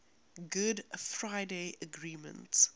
good friday agreement